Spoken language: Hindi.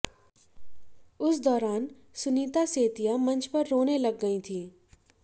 उस दौरान सुनीता सेतिया मंच पर रोने लग गईं थी